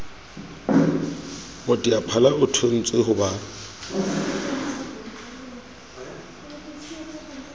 moteaphala o thontswe ho ba